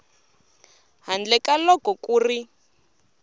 handle ka loko ku ri